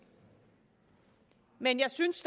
men jeg synes